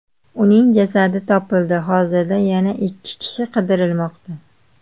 Uning jasadi topildi, hozirda yana ikki kishi qidirilmoqda.